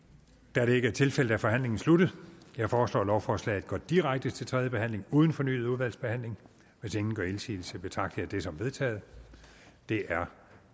da det ikke er tilfældet er forhandlingen sluttet jeg foreslår at lovforslaget går direkte til tredje behandling uden fornyet udvalgsbehandling hvis ingen gør indsigelse betragter som vedtaget det er